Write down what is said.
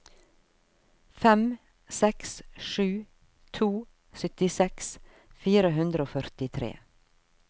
fem seks sju to syttiseks fire hundre og førtitre